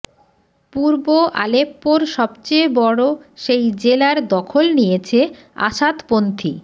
পূর্ব আলেপ্পোর সব চেয়ে বড় সেই জেলার দখল নিয়েছে আসাদপন্থী